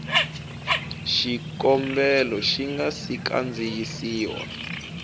xikombelo xi nga si kandziyisiwa